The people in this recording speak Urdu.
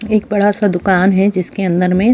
ایک بڑا سا دکان ہے جس کے اندر میں